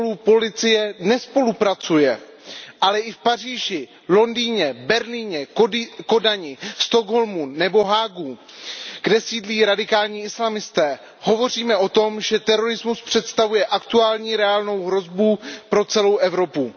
policie nespolupracuje, ale i v Paříži, Londýně, Berlíně, Kodani, ve Stockholmu nebo v Haagu, kde sídlí radikální islamisté, hovoříme o tom, že terorismus představuje aktuální reálnou hrozbu pro celou Evropu.